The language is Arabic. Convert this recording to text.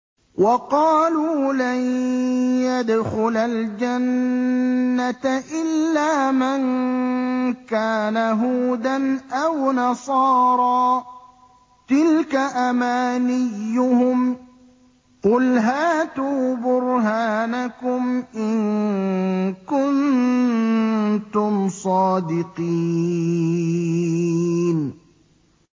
وَقَالُوا لَن يَدْخُلَ الْجَنَّةَ إِلَّا مَن كَانَ هُودًا أَوْ نَصَارَىٰ ۗ تِلْكَ أَمَانِيُّهُمْ ۗ قُلْ هَاتُوا بُرْهَانَكُمْ إِن كُنتُمْ صَادِقِينَ